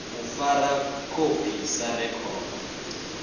u fara khophi sa rekhodo